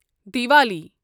Diwali